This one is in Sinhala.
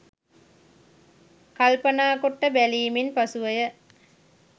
කල්පනා කොට බැලීමෙන් පසුව ය.